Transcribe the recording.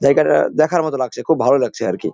জায়গাটা দেখার মতো লাগছে খুব ভালো লাগছে আরকি।